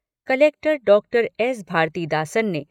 Collector doctor S . Bharathidasan ने